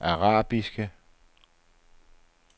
arabiske